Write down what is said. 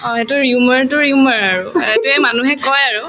অ, সেইটোৰ আৰু সেইটোয়ে মানুহে কই আৰু